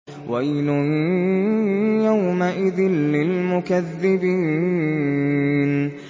وَيْلٌ يَوْمَئِذٍ لِّلْمُكَذِّبِينَ